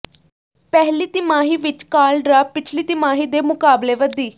ਪਹਿਲੀ ਤਿਮਾਹੀ ਵਿੱਚ ਕਾਲ ਡਰਾਪ ਪਿਛਲੀ ਤਿਮਾਹੀ ਦੇ ਮੁਕਾਬਲੇ ਵਧੀ